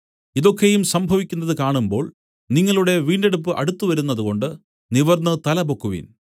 ഇതൊക്കെയും സംഭവിക്കുന്നത് കാണുമ്പോൾ നിങ്ങളുടെ വീണ്ടെടുപ്പ് അടുത്തുവരുന്നതുകൊണ്ട് നിവർന്നു തല പൊക്കുവിൻ